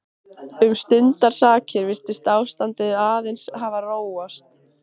Um stundarsakir virtist ástandið aðeins hafa róast.